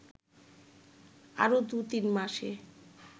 আরও দু’তিন মাসে